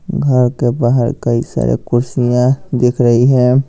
घर के बाहर कई सारे कुर्सियां दिख रही है।